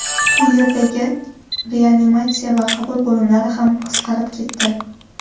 Bu yerdagi reanimatsiya va qabul bo‘limlari ham qisqarib ketdi.